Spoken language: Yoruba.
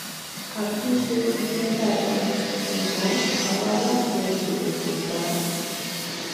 àtúnṣe ṣiṣẹ dáadáa ṣùgbọn àwọn aláṣẹ kọ tètè gba á